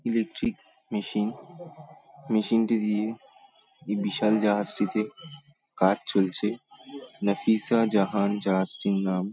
Electric machine মেশিনটি দিয়ে এই বিশাল জাহাজটিতে কাজ চলছে। নাফিসা জাহান জাহাজটির নাম।